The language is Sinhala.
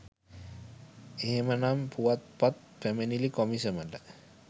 එහෙමනම් පුවත්පත් පැමිණිලි කොමිසමට